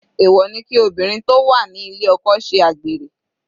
Èwọ̀ ni kí obìnrin tó wà ní ilé oko ṣe àgbèrè.